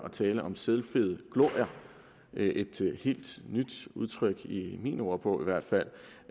at tale om selvfede glorier det er et helt nyt udtryk i min ordbog i hvert fald